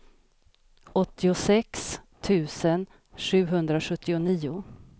åttiosex tusen sjuhundrasjuttionio